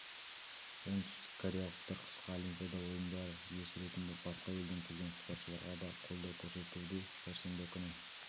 оңтүстік кореялықтар қысқы олимпиада ойындары иесі ретінде басқа елден келген спортшыларға да қолдау көрсетуде сәрсенбі күні